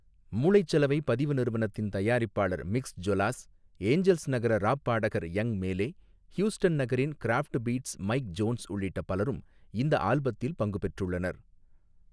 மூளைச்சலவை பதிவு நிறுவனத்தின் தயாரிப்பாளர் மிக்ஸ் ஜொலாஸ் ஏஞ்சல்ஸ் நகர ராப் பாடகர் யங் மேலே ஹ்யூஸ்டன் நகரின் க்ராஃப்ட்பீட்ஸ் மைக் ஜோன்ஸ் உள்ளிட்ட பலரும் இந்த ஆல்பத்தில் பங்கு பெற்றுள்ளனர்.